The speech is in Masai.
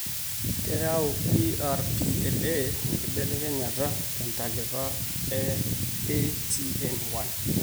keyau DRPLA enkibelekenyata tentalipa eATN1